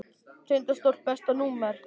Tindastóll Besta númer?